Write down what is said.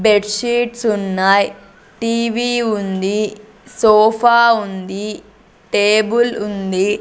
Bed sheets ఉన్నాయ్ TV ఉంది sofa ఉంది టేబుల్ ఉంది.